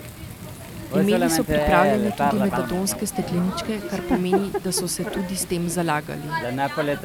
Imeli so pripravljene tudi metadonske stekleničke, kar pomeni, da so se tudi s tem zalagali.